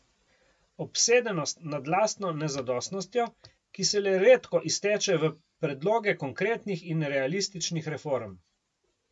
Obsedenost nad lastno nezadostnostjo, ki se le redko izteče v predloge konkretnih in realističnih reform.